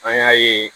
An y'a ye